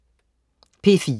P4: